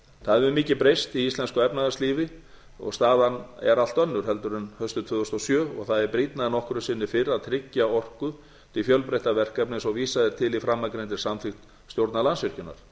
það hefur mikið breyst í íslensku efnahagslífi og staðan er allt önnur heldur en haustið tvö þúsund og sjö og það er brýnna en nokkru sinni fyrr að tryggja orku til fjölbreyttra verkefna eins og vísað er til í framangreindri samþykkt stjórnar landsvirkjunar